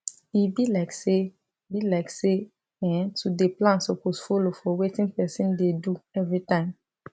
e be like say be like say[um]to dey plan suppose follow for wetin person dey do everytime